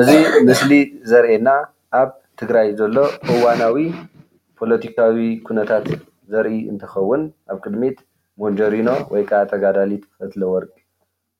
እዚ ምስሊ ዘርእየና ኣብ ትግራይ ዘሎ እዋናዊ ፖለቲካዊ ኩነታት ዘርኢ እንትከውን ኣብ ቅድሚት ሜንጀሪኖ ወይ ከዓ ተጋዳሊት ፈትለወርቅ